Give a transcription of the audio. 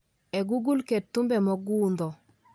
Ee google ket thumbe mogundho